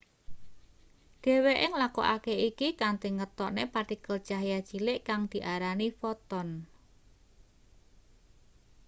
dheweke nglakokake iki kanthi ngetokne partikel cahya cilik kang diarani foton